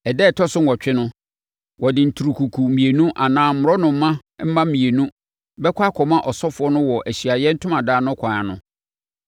Ɛda a ɛtɔ so nwɔtwe no, ɔde nturukuku mmienu anaa mmorɔnoma mma mmienu bɛkɔ akɔma ɔsɔfoɔ no wɔ Ahyiaeɛ Ntomadan no kwan ano